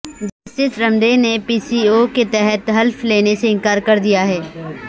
justice Ramday نے P C O کے تحت حلف لینے سے انکار کر دیا ہے